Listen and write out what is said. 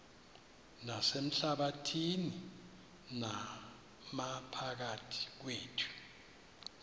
nasehlabathini naphakathi kwethu